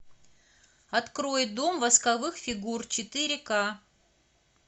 открой дом восковых фигур четыре ка